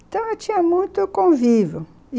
Então, eu tinha muito convívio.